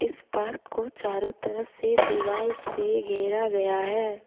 इस पार्क को चारों तरफ से दीवाल से घेरा गया है।